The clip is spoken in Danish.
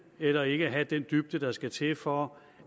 eller ikke at have den dybde der skal til for